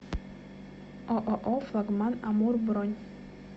ооо флагман амур бронь